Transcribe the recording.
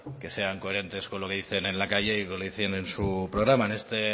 que sean coherentes con lo que dicen en la calle y con lo que dicen en su programa en esta